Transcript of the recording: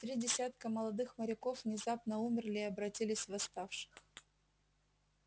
три десятка молодых моряков внезапно умерли и обратились в восставших